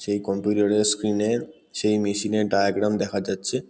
সেই কম্পিউটার -এর স্ক্রিন -এর। সেই মেশিন -এর ডায়াগ্রাম দেখা যাচ্ছে।